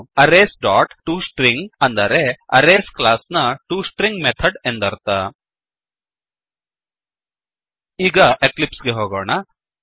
arrays dot to string ಅಂದರೆ arrays class ನ to string method ಎಂದರ್ಥ ಈಗ ಎಕ್ಲಿಪ್ಸ್ ಗೆ ಹೋಗೋಣ